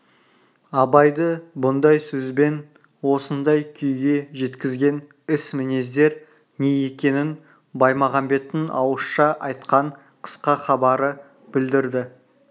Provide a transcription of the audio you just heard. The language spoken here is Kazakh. абайды бұндай сөз бен осындай күйге жеткізген іс-мінездер не екенін баймағамбеттің ауызша айтқан қысқа хабары білдірді